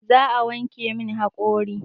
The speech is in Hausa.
Za a wanke min haƙori